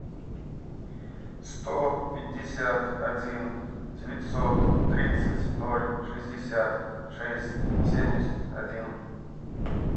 сто пятьдесят один девятьсот тридцать ноль шестьдесят шесть семьдесят один